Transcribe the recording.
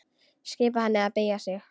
Skipar henni að beygja sig.